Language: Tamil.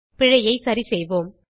பிழையை சரிசெய்வோம்